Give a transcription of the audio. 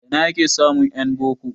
A ina ake samun en boko?